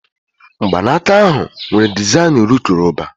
Mgbanaka ahụ nwere dezaịn urukurububa